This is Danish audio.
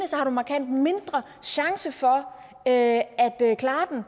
har du markant mindre chance for at klare den og